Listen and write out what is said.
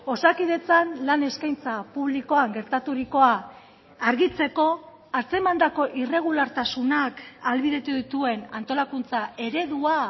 osakidetzan lan eskaintza publikoan gertaturikoa argitzeko atzemandako irregulartasunak ahalbidetu dituen antolakuntza eredua